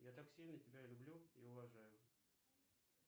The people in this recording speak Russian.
я так сильно тебя люблю и уважаю